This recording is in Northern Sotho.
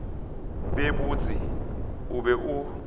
be botse o be o